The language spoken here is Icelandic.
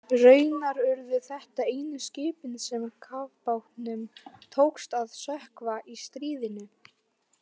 Raunar urðu þetta einu skipin sem kafbátnum tókst að sökkva í stríðinu.